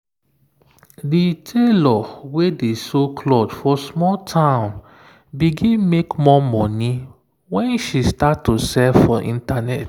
the tailor wey dey sew cloth for small town begin make more money when she start to sell for internet.